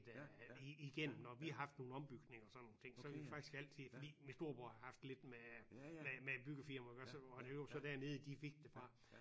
I dag men Steff-byg har jeg også selv handlet der ret meget øh igennem når vi har haft nogle ombygninger og sådan nogle ting så vi faktisk altid fordi min storebror har haft lidt med med med byggefirmaer iggås og det var så dernede de fik det fra